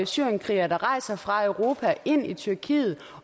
syrienskrigere der rejser fra europa ind i tyrkiet